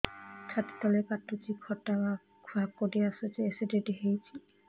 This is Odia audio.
ଛାତି ତଳେ କାଟୁଚି ଖଟା ହାକୁଟି ଆସୁଚି ଏସିଡିଟି ହେଇଚି